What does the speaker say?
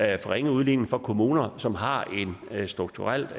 ringe udligning for kommuner som har et strukturelt